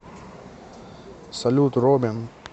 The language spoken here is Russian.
салют робин